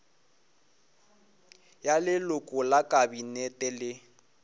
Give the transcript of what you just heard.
ya leloko la kabinete le